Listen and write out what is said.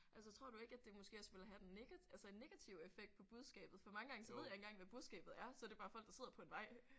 Altså tror du ikke at det måske også vil have den negative altså en negativ effekt på budskabet? For mange gange så ved jeg ikke engang hvad budskabet er. Så er det bare folk der sidder på en vej